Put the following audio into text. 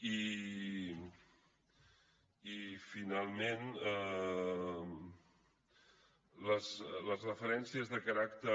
i finalment les referències de caràcter